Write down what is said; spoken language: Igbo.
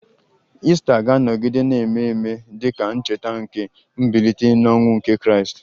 Ista ga-anọgide na-eme ememe dị ka ncheta nke mbilite n'ọnwụ nke Kraịst